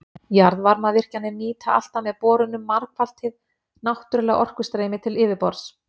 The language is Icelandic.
Jarðvarmavirkjanir nýta alltaf með borunum margfalt hið náttúrlega orkustreymi til yfirborðs.